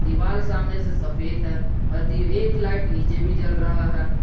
दीवाल सामने से सफेद है और ये एक लाइट नीचे भी जल रहा है।